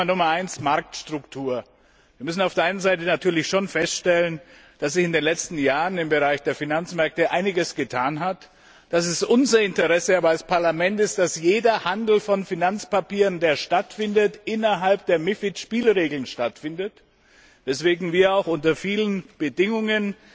Thema Nummer eins Marktstruktur. Wir müssen auf der einen Seite natürlich schon feststellen, dass sich in den letzten Jahren im Bereich der Finanzmärkte einiges getan hat, dass es aber unser Interesse als Parlament ist, dass jeder Handel von Finanzpapieren, der stattfindet, innerhalb der MiFID Spielregeln stattfindet, weswegen wir auch unter vielen Bedingungen